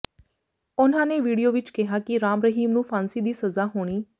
ਉਨ੍ਹਾਂ ਨੇ ਵੀਡੀਓ ਵਿੱਚ ਕਿਹਾ ਕਿ ਰਾਮ ਰਹੀਮ ਨੂੰ ਫਾਂਸੀ ਦੀ ਸਜ਼ਾ ਹੋਣੀ